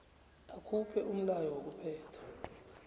akhuphe umlayo wokuphetha